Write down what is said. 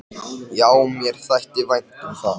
Já, mér þætti vænt um það.